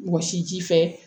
Wɔsi ji fɛ